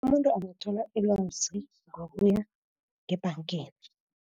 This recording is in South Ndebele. Abantu bangathola ilwazi ngokuya ngebhangeni.